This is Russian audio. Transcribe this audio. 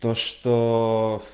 то что